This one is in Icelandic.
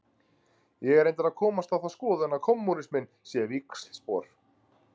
Ég er reyndar að komast á þá skoðun að kommúnisminn sé víxlspor.